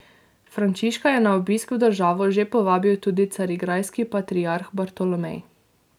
Frančiška je na obisk v državo že povabil tudi carigrajski patriarh Bartolomej.